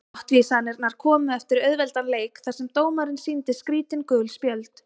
Brottvísanirnar komu eftir auðveldan leik þar sem dómarinn sýndi skrítin gul spjöld.